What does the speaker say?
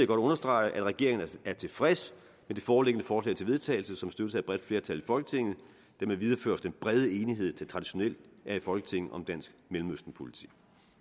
godt understrege at regeringen er tilfreds med det foreliggende forslag til vedtagelse som støttes af et bredt flertal i folketinget hermed videreføres den brede enighed der traditionelt er i folketinget om dansk mellemøstenpolitik